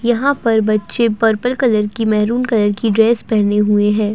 यहाँ पर बच्चे पर्पल कलर की मैरून कलर की ड्रेस पहने हुए है।